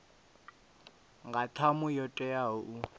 nga ṱhamu yo teaho u